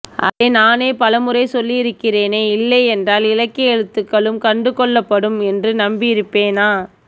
அதை நானே பலமுறை சொல்லி இருக்கிறேனே இல்லையென்றால் இலக்கிய எழுத்துகளும் கண்டுகொள்ளப்படும் என்று நம்பி இருப்பேனா